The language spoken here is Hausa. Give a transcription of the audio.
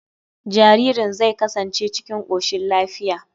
Jaririn zai kasance cikin koshin lafiya.